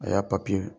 A y'a